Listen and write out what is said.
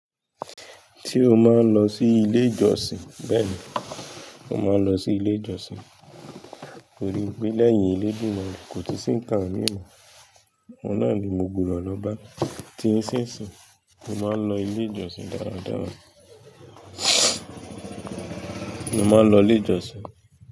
Se o máa ń lọ sí ilé ìjọsìn? Bẹ́ẹ̀ ni, mo máa ń lọ sí ilé ìjọsìn nítorí pé lẹ́yìn elédumare, náà kò tun sí ńkàn mí mọ́. Ọ́un nàá ni mo gbudò lọ bá. Dí iṣínṣinyii, mo máa ń lọ ilé ìjọsìn dáradára. Mo máa ń lọ ilé ìjọsìn.